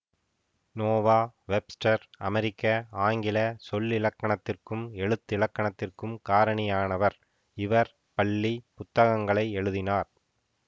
Noah Webster அமெரிக்க ஆங்கில சொல்லிலக்கணத்திற்கும் எழுத்திலக்கணத்திற்கும் காரணியானவர் இவர் பள்ளி புத்தகங்களை எழுதினார்